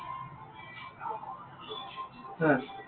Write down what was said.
হা।